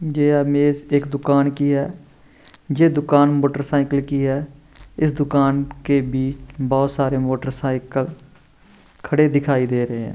जे image एक दुकान की है जे दुकान मोटरसाइकिल की है इस दुकान के बीच बहुत सारे मोटरसाइकल खड़े दिखाई दे रहे है।